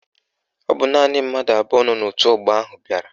Ọ bụ naanị mmadụ abụọ nọ n'òtù ọgbọ ahụ bịara